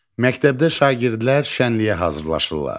Məktəbdə şagirdlər şənliyə hazırlaşırlar.